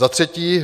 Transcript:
Za třetí.